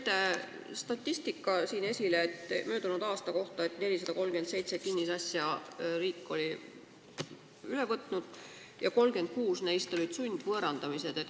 Te tõite siin esile statistika, et möödunud aastal on riik üle võtnud 437 kinnisasja ja 36 neist olid sundvõõrandamised.